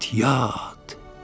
Get yat!